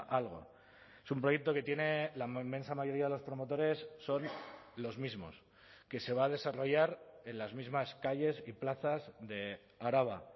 algo es un proyecto que tiene la inmensa mayoría de los promotores son los mismos que se va a desarrollar en las mismas calles y plazas de araba